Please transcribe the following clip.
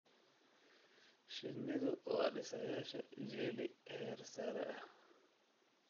Shinnidu waa dhisayaasha jelly heer sare ah.